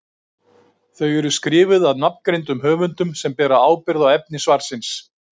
Þau eru skrifuð af nafngreindum höfundum sem bera ábyrgð á efni svarsins.